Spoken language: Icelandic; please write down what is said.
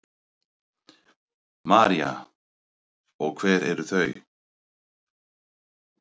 María: Og hver eru þau?